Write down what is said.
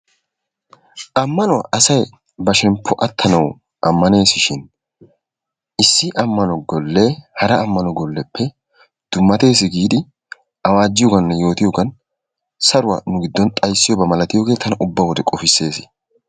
Amanuwaa asay ba shemppuwaa attanawu amanesishin issi amanno golle hara amanno golleppe dummates giidi awajiyooganne yoottiyogan saruwaa nu giddon xayssiyoba malattiyoge tanna ubba wode qofisses.